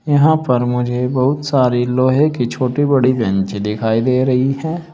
यहां पर मुझे बहुत सारे लोहे की छोटी बड़ी बेंचे दिखाई दे रही है।